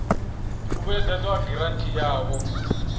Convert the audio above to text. u vhuedzedzwa ha giranthi yavho